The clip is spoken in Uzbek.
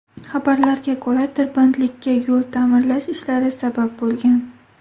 Xabarlarga ko‘ra, tirbandlikka yo‘l ta’mirlash ishlari sabab bo‘lgan.